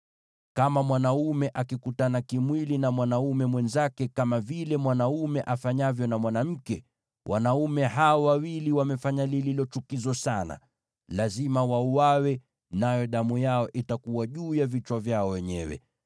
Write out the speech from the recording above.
“ ‘Kama mwanaume akikutana kimwili na mwanaume mwenzake kama vile mwanaume afanyavyo na mwanamke, wanaume hao wawili wamefanya lililo chukizo sana. Lazima wauawe; nayo damu yao itakuwa juu ya vichwa vyao wenyewe.